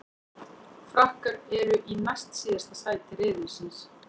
Frakkar eru í næst síðasta sæti riðilsins.